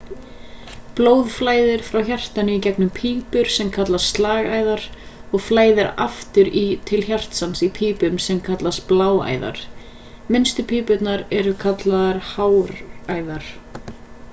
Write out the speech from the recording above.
blóð flæðir frá hjartanu í gegnum pípur sem kallast slagæðar og flæðir aftur til hjartans í pípum sem kallast bláæðar minnstu pípurnar eru kallaðar háræðar